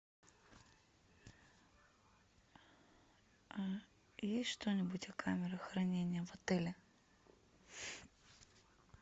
есть что нибудь о камерах хранения в отеле